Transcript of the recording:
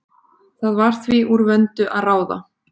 Það var því úr vöndu að ráða.